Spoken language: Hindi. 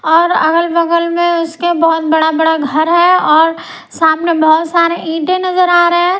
और अगल-बगल में उसके बहुत बड़ा-बड़ा घर है और सामने बहुत सारे ईंटे नजर आ रहे हैं।